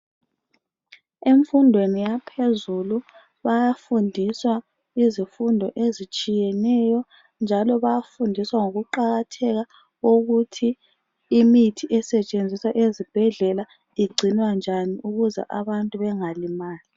Emfundweni yaphezulu bayafundiswa izifundo ezitshiyeneyo njalo bayafundiswa ngokuqakatheka kokuthi imithi esetshenziswa ezibhedlela igcinwa njani ukuze abantu bengalimali.